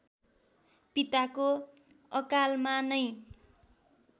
पिताको अकालमा नै